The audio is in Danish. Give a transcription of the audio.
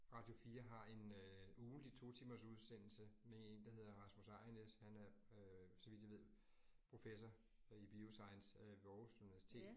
Radio 4 har en øh ugentlig totimers udsendelse med 1, der hedder Rasmus Ejrnæs. Han er øh så vidt jeg ved professor i bioscience øh ved Aarhus Universitet